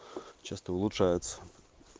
часто улучшается